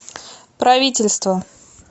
правительство